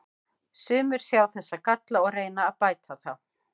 Sumir sjá þessa galla og reyna að bæta þá.